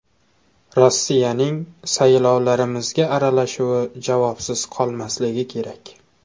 Rossiyaning saylovlarimizga aralashuvi javobsiz qolmasligi kerak.